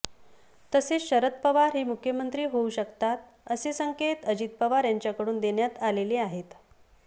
तसेच शरद पवार हे मुख्यमंत्री होऊ शकतात असे संकेत अजित पवार यांच्याकडून देण्यात आलेले आहेत